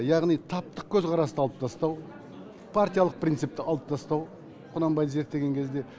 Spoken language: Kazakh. яғни таптық көзқарасты алып тастау партиялық принципті алып тастау құнанбайды зерттеген кезде